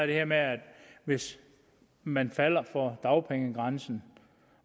det her med hvis man falder for dagpengegrænsen